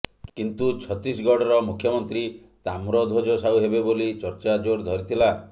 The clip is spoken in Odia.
କିନ୍ତୁ ଛତିଶଗଡ଼ର ମୁଖ୍ୟମନ୍ତ୍ରୀ ତାମ୍ରଧ୍ୱଜ ସାହୁ ହେବେ ବୋଲି ଚର୍ଚ୍ଚା ଜୋର ଧରିଥିଲା